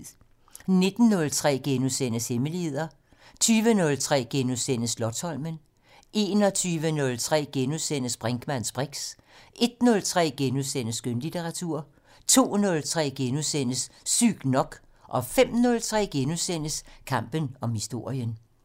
19:03: Hemmeligheder * 20:03: Slotsholmen * 21:03: Brinkmanns briks * 01:03: Skønlitteratur * 02:03: Sygt nok * 05:03: Kampen om historien *